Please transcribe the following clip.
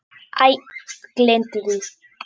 Æ, gleymdu því.